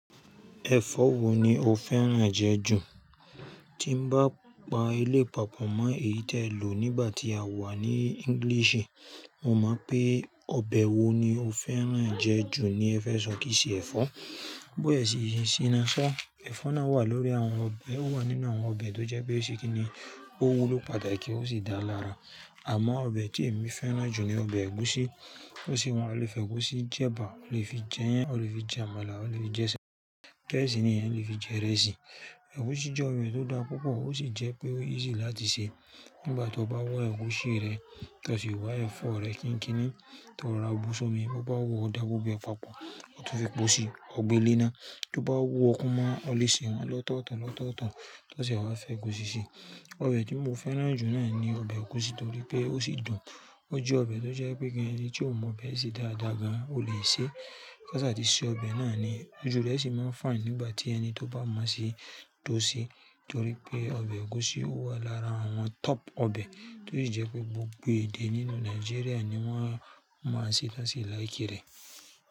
Ẹ̀fọ́ wo ni o fẹ́ràn jẹ ju? Tí mo bá pa eléyìí pápọ̀ mọ́ èyí tí ẹ lò nígbà tí a wà ní English, mo mọ̀ pé ọbẹ̀ wo ni o fẹ́ràn jẹ ju ni ẹ fẹ́ sọ kí í ṣe ẹ̀fọ́. But ẹ sì siná ṣá, ẹ̀fọ́ náà wà lórí àwọn ọbẹ̀, ó wà nínú àwọn ọbẹ̀ tó jẹ pé ṣé kí ni, ó wu ló pàtàkì ó sì dára lára. Àmọ́ ọbẹ̀ tí èmi fẹ́ràn jù ni ọbẹ̀ ẹ̀gúsí, ó sì wọ́n lè fi ẹ̀gúsí jẹ'bà, ó lè fi jẹ'yán, ó lè fi j'àmàlà, ó lè fi jẹ ṣèmó, bẹ́ẹ̀ sí ní èèyàn lè fi jẹ ìrẹsì. Ẹ̀gúsí jẹ́ ohun tó dára púpọ̀ ó sì jẹ́ pé ó easy láti ṣe. Nígbà tí o bá wá ẹ̀gúsí rẹ, tí o sì wá ẹ̀fọ́ rẹ kínkínni, tí o rora bu sómi, tí o bá wù òó dáa gbogbo ẹ papọ̀, tí o fi epo sí ọ̀ gbée lénáá, tí o bá wú ọ kú mọ́ ọn o lè sè wọn lọ́tọ̀ọ̀tọ̀ lọ́tọ̀ọ̀tọ̀ tí o sè wá f'ẹ̀gúsí síi. Ọbẹ̀ tí mo fẹ́ràn jù náà ni ọbẹ̀ ẹ̀gúsí torí pé ó sì dùn, ó jẹ́ ọbẹ̀ tó jẹ́ pé kí ẹni tí ò mọ̀ ọbẹ̀ sè dáadáa gan-an ó lè ṣe. K'ásà tí ṣe ọbẹ̀ náà ni óju rẹ̀ sì mo fine nígbà tí ẹni tí ó bá mọ̀ se tọ́ o seé torí pé ọbẹ̀ ẹ̀gúsí wà lára àwọn top ọbẹ̀ tí ó sì jẹ́ pé gbogbo èdè nínú Nàìjíríà ni wọ́n mọ̀ ọ́ sè tí wọ́n sì like rẹ̀.